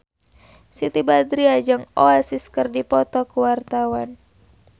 Siti Badriah jeung Oasis keur dipoto ku wartawan